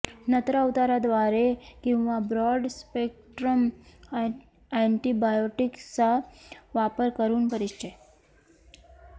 नत्रा उतारा द्वारे किंवा ब्रॉड स्पेक्ट्रम अँटीबायोटिक्सचा वापर करून परिचय